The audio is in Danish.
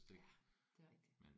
Ja det er rigtigt